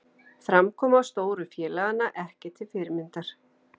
Framkoma stóru félaganna ekki til fyrirmyndar